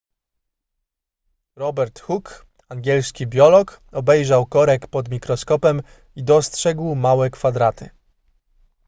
robert hook angielski biolog obejrzał korek pod mikroskopem i dostrzegł małe kwadraty